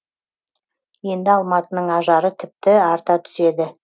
енді алматының ажары тіпті арта түседі